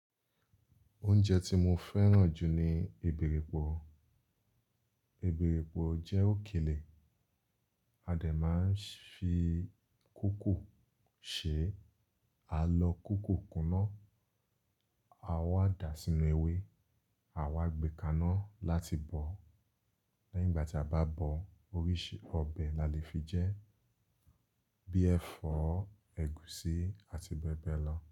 Oúnjẹ tí mo fẹ́ràn jù ni èbèripò. Èbèripò jẹ́ òkèlè, a dẹ̀ máa ń fi kúkù ṣe, a lọ kúkù kuná, a wá dà sínú ewé, à wá gbé kaná láti bọ̀. Lẹ́yìn ìgbà tí a bá bọ̀, oríṣi ọbẹ̀ la lè fi jẹ́, bí i ẹ̀fọ́, ẹ̀gúsí àti bẹ́ẹ̀ bẹ́ẹ̀ lọ.